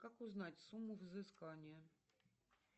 как узнать сумму взыскания